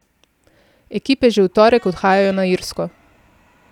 Ekipe že v torek odhajajo na Irsko.